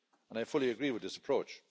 And I fully agree with this approach.